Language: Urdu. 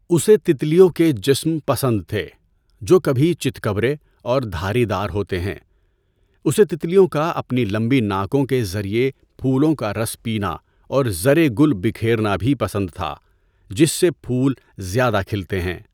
اسے تتلیوں کے جسم پسند تھے جو کبھی چتکبرے اور دھاری دار ہوتے ہیں۔ اسے تتلیوں کا اپنی لمبی ناکوں کے ذریعہ پھولوں کا رس پینا اور زرِ گُل بکھیرنا بھی پسند تھا جس سے پھول زیادہ کھلتے ہیں۔